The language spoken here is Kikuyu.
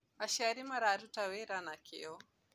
Aciari mararuta wĩra na kĩo